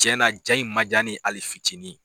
Tiɲɛna ja in ma diya ne ye hali fitinin